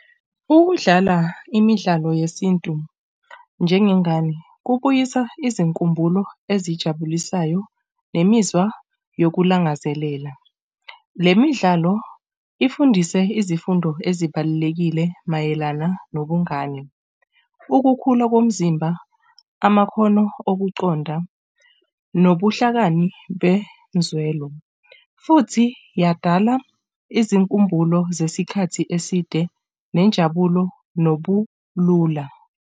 Ukudlala imidlalo yesintu njengengane kubuyisa izinkumbulo ezijabulisayo nemizwa yokulangazelela. Le midlalo ifundise izifundo ezibalulekile mayelana nobungani, ukukhula komzimba, amakhono okuqonda nobuhlakani benzwelo futhi yadala izinkumbulo zesikhathi eside nenjabulo nobulula.